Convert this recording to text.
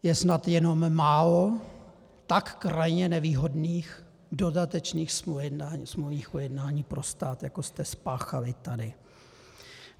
Je snad jenom málo tak krajně nevýhodných dodatečných smluvních ujednání pro stát, jako jste spáchali tady.